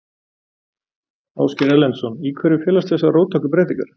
Ásgeir Erlendsson: Í hverju felast þessar róttæku breytingar?